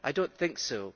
I do not think so.